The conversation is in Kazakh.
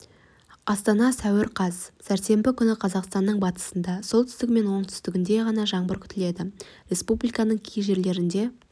астана сәуір қаз сәрсенбі күні қазақстанның батысында солтүстігі мен оңтүстігінде ғана жаңбыр күтіледі республиканың кей жерлерінде